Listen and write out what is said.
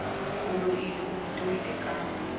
o loileng o itoile ka